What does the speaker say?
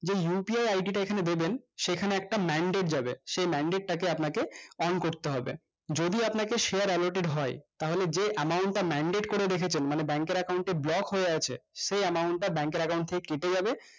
যে upi id টা এইখানে দেবেন সেখানে একটা manded যাবে সেই manded টাকে আপনাকে পান করতে হবে যদি আপনাকে share allotted হয় তাহলে যে amount টা manded করে রেখেছেন মানে bank এর account এ block হয়ে আছে সেই amount টা bank এর account থেকে কেটে যাবে